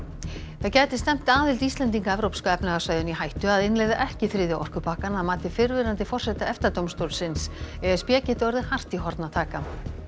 það gæti stefnt aðild Íslending að evrópska efnahagssvæðinu í hættu að innleiða ekki þriðja orkupakkann að mati fyrrverandi forseta EFTA dómstólsins e s b geti orðið hart í horn að taka